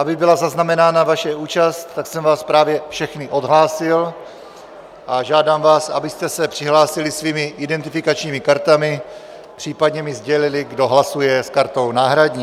Aby byla zaznamenána vaše účast, tak jsem vás právě všechny odhlásil a žádám vás, abyste se přihlásili svými identifikačními kartami, případně mi sdělili, kdo hlasuje s kartou náhradní.